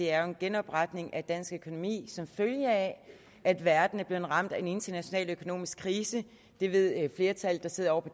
er en genopretning af dansk økonomi som følge af at verden er blevet ramt af en international økonomisk krise et et flertal der sidder